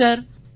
சரி சார்